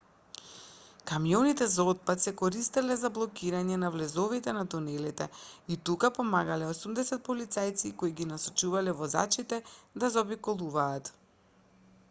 камионите за отпад се користеле за блокирање на влезовите на тунелите и тука помагале 80 полицајци кои ги насочувале возачите да заобиколуваат